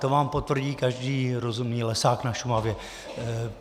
To vám potvrdí každý rozumný lesák na Šumavě.